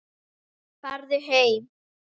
Farið heim!